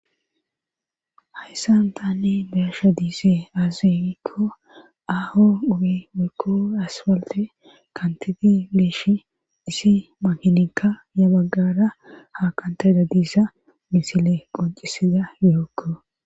Hayssan taani beyasha diisee aazenikko aaho ubi wekko aspalte kantidi liishi disi mahininka ya baggara ha kantayda diisa misile qoncisida yookko.